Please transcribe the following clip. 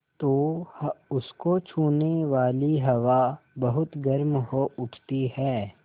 तो उसको छूने वाली हवा बहुत गर्म हो उठती है